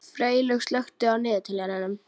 Freylaug, slökktu á niðurteljaranum.